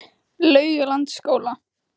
Laugalandsskóla